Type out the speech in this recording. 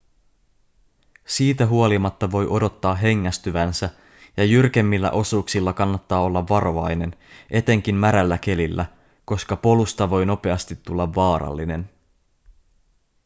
siitä huolimatta voi odottaa hengästyvänsä ja jyrkemmillä osuuksilla kannattaa olla varovainen etenkin märällä kelillä koska polusta voi nopeasti tulla vaarallinen